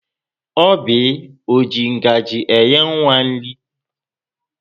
Oby ọ ji ngaji nye nwa nri?